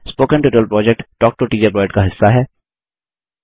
spoken tutorial project talk to a teacher project का हिस्सा है